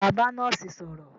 Ṣé wà á bá nọ́ọ́sì sọ̀rọ̀?